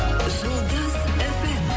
жұлдыз эф эм